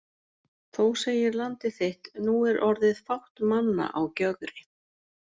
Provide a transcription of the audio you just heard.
Þó segir Landið þitt: Nú er orðið fátt manna á Gjögri